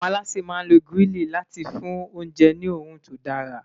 àwọn aláṣẹ má n ló grili láti fún oúnjẹ ní orun tó dara